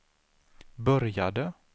började